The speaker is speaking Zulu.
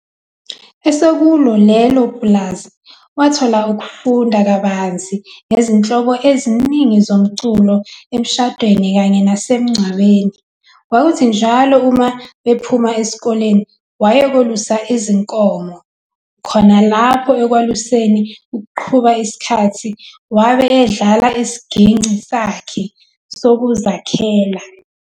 Esekulo leli pulazi wathola ukufunda kabanzi ngezinhlobo eziningi zomculo emishadweni kanye nasemncwabeni. Kwakuthi njalo uma bephuma esikoleni waye kolusa izinkomo, khona lapho ekwaluseni ukuqhuba isikhathi wabe edlala isigingci sakhe "sokuzakhela".